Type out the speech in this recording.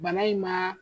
Bana in ma